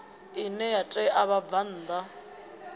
ine ya ṋea vhabvann ḓa